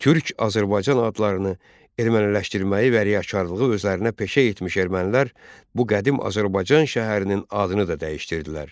Türk, Azərbaycan adlarını erməniləşdirməyi və riyakarlığı özlərinə peşə etmiş ermənilər bu qədim Azərbaycan şəhərinin adını da dəyişdirdilər.